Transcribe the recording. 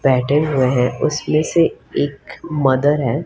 बैठे हुए हैं उसमें से एक मदर है।